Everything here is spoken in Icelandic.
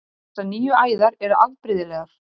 Þessar nýju æðar eru afbrigðilegar.